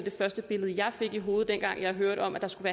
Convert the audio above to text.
første billede jeg fik i hovedet dengang jeg hørte om at der skulle